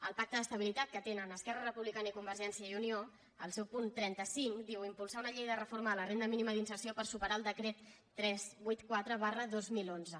el pacte d’estabilitat que tenen esquerra republicana i convergència i unió el seu punt trenta cinc diu impulsar una llei de reforma de la renda mínima d’inserció per superar el decret tres cents i vuitanta quatre dos mil onze